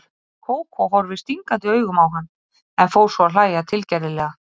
Kókó horfði stingandi augum á hann, en fór svo að hlæja tilgerðarlega.